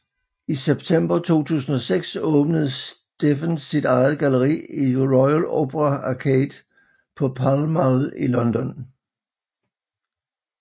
I september 2006 åbnede Stephen sit eget galleri i Royal Opera Arcade på Pall Mall i London